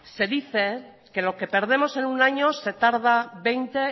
se dice que lo que perdemos en un año se tarda veinte